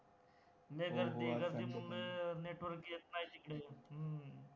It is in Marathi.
लय गर्दी आहे, गर्दीमुळे network येत नाही तिकडे हम्म